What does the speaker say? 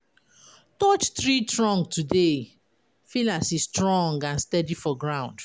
Touch tree trunk today, feel as e strong and steady for ground.